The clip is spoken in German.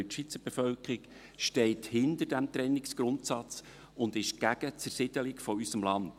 Denn die Schweizer Bevölkerung steht hinter diesem Trennungsgrundsatz und ist gegen die Zersiedelung unseres Landes.